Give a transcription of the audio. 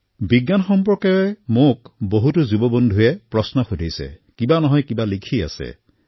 বিজ্ঞানক লৈ বহু প্ৰশ্ন মোৰ যুৱ বন্ধুসকলে মোক সোধে কিবা নহয় কিবা লিখি থাকে